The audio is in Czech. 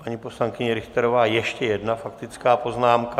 Paní poslankyně Richterová, ještě jedna faktická poznámka.